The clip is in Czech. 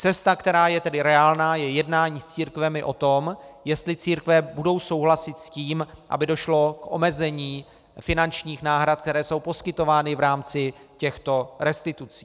Cesta, která je tedy reálná, je jednání s církvemi o tom, jestli církve budou souhlasit s tím, aby došlo k omezení finančních náhrad, které jsou poskytovány v rámci těchto restitucí.